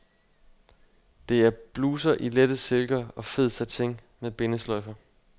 Det er bluser i lette silker og fed satin med bindesløjfer.